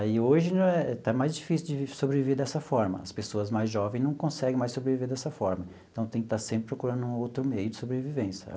Aí hoje está mais difícil de sobreviver dessa forma, as pessoas mais jovem não conseguem mais sobreviver dessa forma, então tem que estar sempre procurando outro meio de sobrevivência.